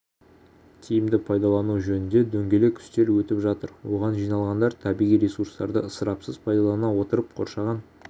тиімді пайдалану жөнінде дөңгелек үстел өтіп жатыр оған жиналғандар табиғи ресурстарды ысырапсыз пайдалана отырып қоршаған